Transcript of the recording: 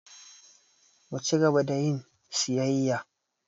Mu ci gaba da yin siyayya.